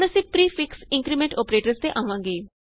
ਹੁਣ ਅਸੀਂ prefix increment operators ਤੇ ਆਵਾਂਗੇ